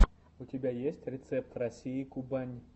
у тебя есть рецепт россии кубань